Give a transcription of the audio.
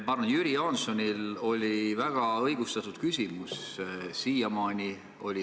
Ma arvan, et Jüri Jaansonil oli väga õigustatud küsimus.